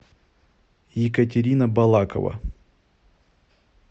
екатерина балакова